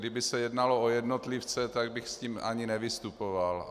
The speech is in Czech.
Kdyby se jednalo o jednotlivce, tak bych s tím ani nevystupoval.